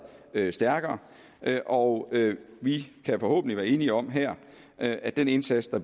stærkere og vi kan forhåbentlig være enige om her at den indsats der